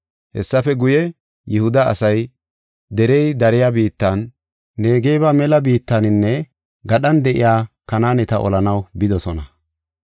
Hessafe guye, Yihuda asay derey dariya biittan, Negeba mela biittaninne gadhan de7iya Kanaaneta olanaw bidosona.